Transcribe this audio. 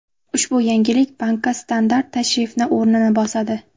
Ushbu yangilik bankka standart tashrifni o‘rnini bosadi.